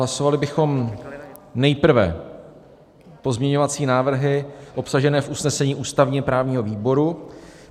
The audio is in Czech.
Hlasovali bychom nejprve pozměňovací návrhy obsažené v usnesení ústavně-právního výboru.